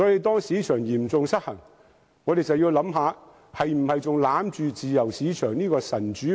當市場嚴重失衡，我們就要考慮應否還死守着自由市場這個"神主牌"？